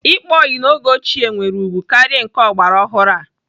Ịkpa ọyị n'oge ochie nwere ugwu karịa nke ọgbaraọhụrụ a.